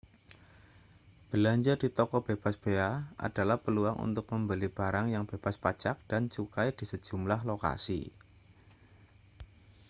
belanja di toko bebas bea adalah peluang untuk membeli barang yang bebas pajak dan cukai di sejumlah lokasi